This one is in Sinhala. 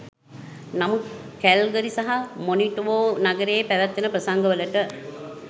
නමුත් කැල්ගරි සහ මොනිටොබෝ නගරයේ පැවැත්වෙන ප්‍රසංග වලට